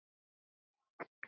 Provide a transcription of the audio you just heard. Það sé seinni tíma verk.